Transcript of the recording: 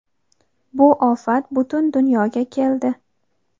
Bu ofat butun dunyoga keldi.